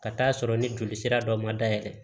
Ka taa'a sɔrɔ ni joli sira dɔ ma dayɛlɛ